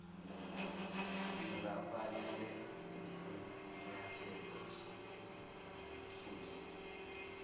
singafanele isinyathelo sokususa